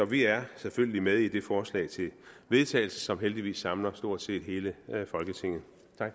vi er selvfølgelig med i det forslag til vedtagelse som heldigvis samler stort set hele folketinget